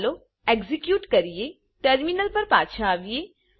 ચાલો એક્ઝેક્યુટ કરીએ ટર્મિનલ પર પાછા આવીએ